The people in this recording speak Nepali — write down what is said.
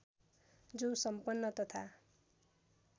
जो सम्पन्न तथा